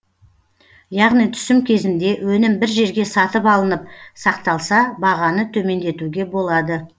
яғни түсім кезінде өнім бір жерге сатып алынып сақталса бағаны төмендетуге болады